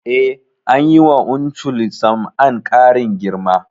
Eh, anyi wa Uncle Sam'an ƙarin girma